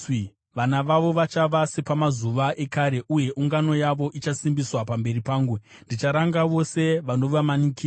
Vana vavo vachava sepamazuva ekare, uye ungano yavo ichasimbiswa pamberi pangu; ndicharanga vose vanovamanikidza.